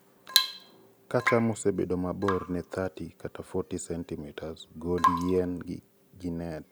kaa cham osebedo mabor ne 30-40cm gol yien gi nets